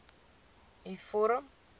u vorm